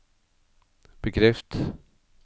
bekreft